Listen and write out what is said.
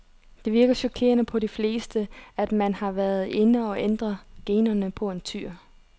Det virker chokerende på de fleste, at man har været inde og ændre generne på en tyr.